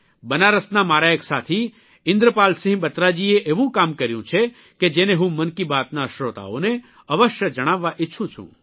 બનારસના મારા એક સાથી ઇન્દ્રપાલસિંહ બત્રાજીએ એવું કામ કર્યું છે કે જેને હું મનકી બાતના શ્રોતાઓને અવશ્ય જણાવવા ઇચ્છું છું